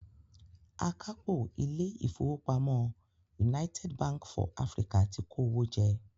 Akápò ilé ìfowópamọ́ United Bank for Africa ti kó owó jẹ.